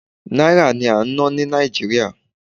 Náírà ni à ń ná ní Nàìjíríà.